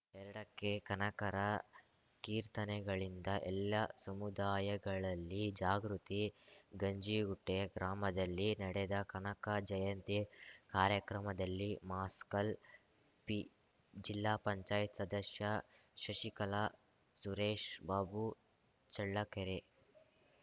ಎರಡಕ್ಕೆಕನಕರ ಕೀರ್ತನೆಗಳಿಂದ ಎಲ್ಲಾ ಸಮುದಾಯಗಳಲ್ಲಿ ಜಾಗೃತಿ ಗಂಜಿಗುಂಟೆ ಗ್ರಾಮದಲ್ಲಿ ನಡೆದ ಕನಕ ಜಯಂತಿ ಕಾರ್ಯಕ್ರಮದಲ್ಲಿ ಮಸ್ಕಲ್‌ ಪಿ ಜಿಲ್ಲಾ ಪಂಚಾಯತ್ ಸದಸ್ಯ ಶಶಿಕಲಾ ಸುರೇಶ್‌ಬಾಬು ಚಳ್ಳಕೆರೆ